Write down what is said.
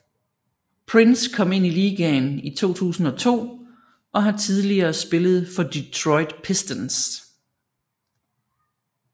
Prince kom ind i ligaen i 2002 og har tidligere spillet for Detroit Pistons